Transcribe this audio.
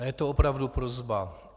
A je to opravdu prosba.